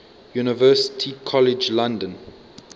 university college london